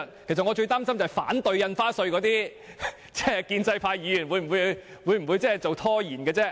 其實，我最擔心反對《條例草案》的建制派議員會拖延審議。